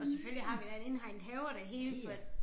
Og selvfølgelig har vi da en indhegnet have og det hele for